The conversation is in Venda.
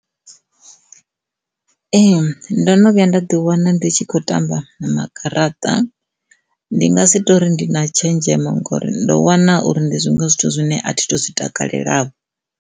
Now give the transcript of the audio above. Ee, ndo no vhuya nda ḓi wana ndi tshi khou tamba magaraṱa ndi nga si tori ndi na tshenzhemo ngori ndo wana uri ndi zwone zwithu zwine athi tu zwi takalela.